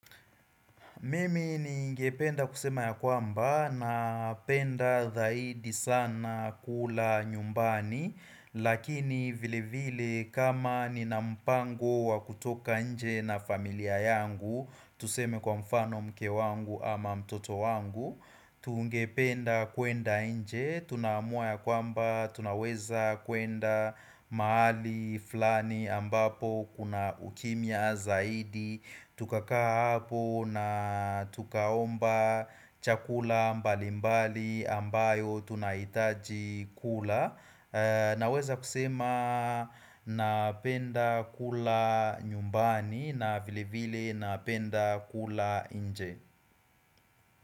Mimi ningependa kusema ya kwamba na penda zaidi sana kula nyumbani Lakini vile vile kama ni na mpango wa kutoka inje na familia yangu Tuseme kwa mfano mke wangu ama mtoto wangu Tungependa kuenda inje, tunaamua ya kwamba, tunaweza kuenda mahali flani ambapo kuna ukimia zaidi Tukakaa hapo na tukaomba chakula mbali mbali ambayo tunaitaji kula Naweza kusema napenda kula nyumbani na vile vile napenda kula inje.